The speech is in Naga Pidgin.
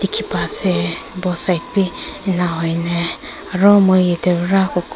Kiba ase both side bhi ena hoineh aro moi eteh pra.